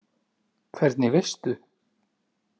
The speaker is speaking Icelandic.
Hvernig veistu?